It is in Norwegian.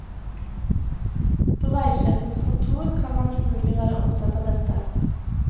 På veisjefens kontor kan man umulig være opptatt av dette.